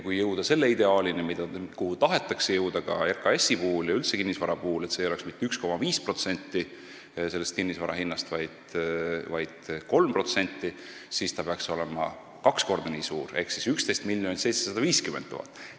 Kui jõuda ideaalini, milleni RKAS-i ja üldse kinnisvara puhul tahetakse jõuda, et see ei oleks mitte 1,5% kinnisvara hinnast, vaid 3%, siis see peaks olema kaks korda nii suur ehk 11 750 000 eurot.